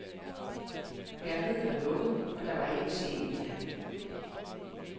Galleriet var lukket, og der var ikke en sjæl i nærheden.